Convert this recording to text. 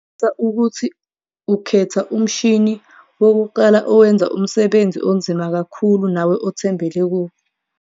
Qinisekisa ukuthi ukhetha umshini wokuqala owenza umsebenzi onzima kakhulu nawe othembele kuwo.